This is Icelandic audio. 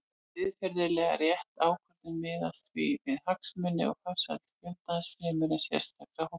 Siðferðilega rétt ákvörðun miðast því við hagsmuni og farsæld fjöldans fremur en sérstakra hópa.